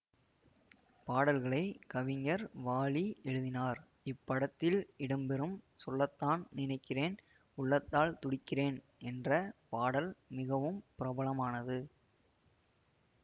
பாடல்களை கவிஞர் வாலி எழுதினார் இப்படத்தில் இடம்பெறும் சொல்லத்தான் நினைக்கிறேன் உள்ளத்தால் துடிக்கிறேன் என்ற பாடல் மிகவும் பிரபலமானது